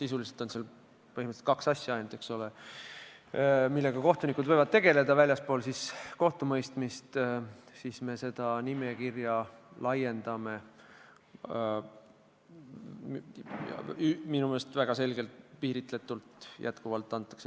Sisuliselt on seal ainult kaks asja ja me nüüd pikendame seda nimekirja minu meelest väga piiritletult.